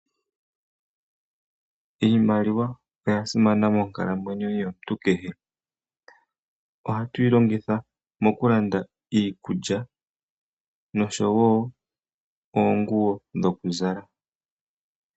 Iimaliwa oyasimana monkalamwenyo yomuntu kehe. Ohatu yilongitha mo kulanda iikulya noshowo oonguwo dhokuzala.